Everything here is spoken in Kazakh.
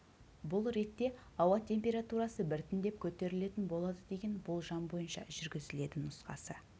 бұл ретте ауа температурасы біртіндеп көтерілетін болады деген болжам бойынша жүргізіледі нұсқасы